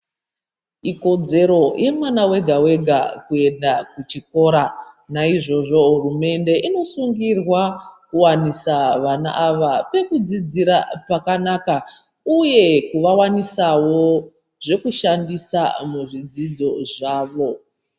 Ikodzero yemwana wega-wega kuenda kuchikora. Naizvozvo hurumende inosungirwa ,kuwanisa vana ava pekudzidzira pakanaka, uye kuvawanisawo ,zvekushandisa muzvidzidzo zvavo.